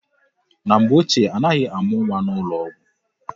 Na mgbe ochie, anaghị amụ nwa n'ụlọ ọgwụ.